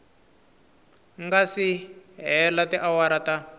nga si hela tiawara ta